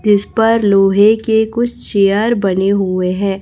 जिस पर लोहे के कुछ चेयर बने हुए है।